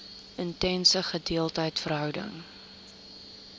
intense gedeelde verhouding